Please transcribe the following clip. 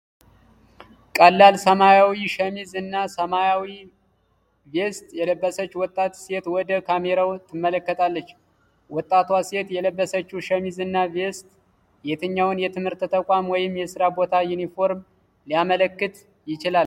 ቀላል ሰማያዊ ሸሚዝ እና ሰማያዊ ቬስት የለበሰች ወጣት ሴት ወደ ካሜራው ትመለከታለች። ወጣቷ ሴት የለበሰችው ሸሚዝና ቬስት የትኛውን የትምህርት ተቋም ወይም የሥራ ቦታ ዩኒፎርም ሊያመለክት ይችላል?